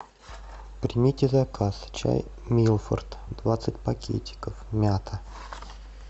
примите заказ чай милфорд двадцать пакетиков мята